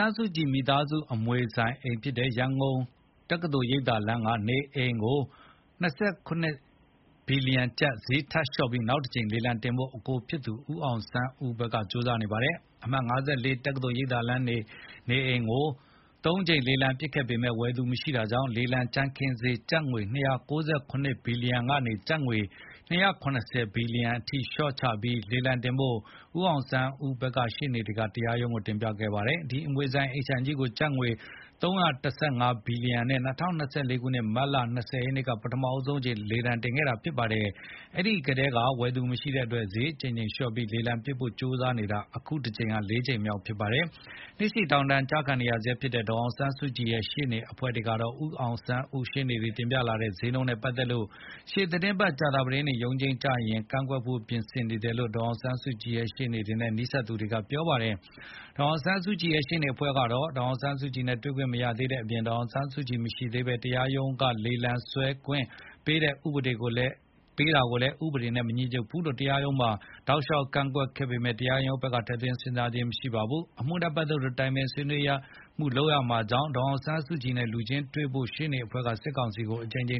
န်းစုကြည် မိသားစုအမွေဆိုင်အိမ်ဖြစ်တဲ့ ရန်ကုန်မြို့ တက္ကသိုလ်ရိပ်သာလမ်းက နေအိမ်ကို ၂၇ ဘီလီယံကျပ် ဈေးထပ်လျှော့ပြီး နောက်တကြိမ် လေလံတင်ဖို့ အကိုဖြစ်သူ ဦးအောင်ဆန်းဦးဘက်က ကြိုးစားနေပါတယ်။ အမှတ် ၅၄ တက္ကသိုလ်ရိပ်သာလမ်းနေအိမ်ကို ၃ ကြိမ် လေလံပစ်ခဲ့ပေမဲ့ ဝယ်မယ့်သူမရှိတာကြောင့် လေလံကြမ်းခင်းဈေး ကျပ်ငွေ ၂၉၇ ဘီလီယံကနေ ကျပ်ငွေ ၂၇၀ ဘီလီယံ လျှော့ချ လေလံထပ်တင်ဖို့ ဦးအောင်ဆန်းဦးရှေ့နေက တရားရုံးကို တင်ပြခဲ့ပါတယ်။ ဒီအမွေဆိုင် အိမ်ခြံကြီးကို ကျပ်ငွေ ၃၁၅ ဘီလီယံနဲ့ ၂၀၂၄ မတ်လ ၂၀ ရက်နေ့မှာ ပထမဆုံးအကြိမ်လေလံ စတင်ခဲ့တာဖြစ်ပါတယ်။ အဲဒီထဲက ဝယ်သူမရှိတဲ့အတွက် ဈေးအကြိမ်ကြိမ်လျှော့ပြီး လေလံပစ်နိုင်ဖို့ ကြိုးစားတာ အခု ၄ ကြိမ်မြောက်ဖြစ်ပါတယ်။ နှစ်ရှည်ထောင်ဒဏ်အကျဉ်းကျခံနေရဆဲဖြစ်တဲ့ ဒေါ်ဆောင်ဆန်းစုကြည်ရဲ့ ရှေ့နေ အဖွဲ့ကတော့ ဦးအောင်ဆန်းဦး ရှေ့ နေ တွေ တင်ပြလာတဲ့ဈေးနှုန်းနဲ့ပတ်သတ်လို့ ရှေ့သီတင်းပတ် ကြာသပတေးနေ့ရုံးချိန်းကျရင် ကန့်ကွက်ဖို့ ပြင်ဆင်နေတယ်လို့ ဒေါ်အောင်ဆန်းစုကြည်ရှေ့နေတွေနဲ့ နီးစပ်သူတွေကပြောပါတယ်။ ဒေါ်အောင်ဆန်းစုကြည်ရဲ့ ရှေ့နေအဖွဲ့ကတော့ ဒေါ်အောင်ဆန်းစုကြည်နဲ့ တွေ့ခွင့်မရသေးတဲ့အပြင် ဒေါ်အောင်ဆန်းစုကြည် မသိရှိသေးဘဲ တရားရုံးက လေလံဆွဲခွင့်ပေးတဲ့အပေါ် ဥပေဒေနဲ့ မညီညွတ်ဘူးဆိုပြီး တရားရုံးမှာ တောက်လျှောက် ကန့်ကွက်ခဲ့ပေမဲ့ တရားရုံးဘက်က ထည့်သွင်းစဉ်းစားပေးခြင်း မရှိခဲ့ပါဘူး။ အမှုနဲ့ပတ်သက်လို့ တိုင်ပင်ဆွေးနွေးမှုတွေ လုပ်ရမှာကြောင့် ဒေါ်အောင်ဆန်းစုကြည်နဲ့ လူချင်းတွေ့ခွင့်ရဖို့ ရှေ့နေအဖွဲ့က စစ်ကောင်စီကို အကြိမ်ကြ